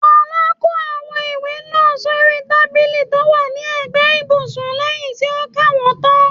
Folá kó àwọn ìwé náà sóri tábìlì tó wà ní ẹ̀gbẹ́ ibùsùn lẹyìn tí ó ka wọ́n tán.